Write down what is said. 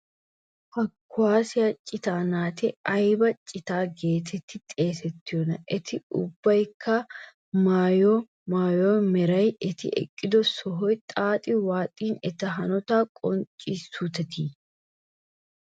Ha kuwaasiya citaa naati ayba cita geetettidi xeesettiyona? Eti ubbaykka maayido maayuwa meray, eti eqqido sohoy xaaxi waaxin eta hanotaa qonccissuuteetii?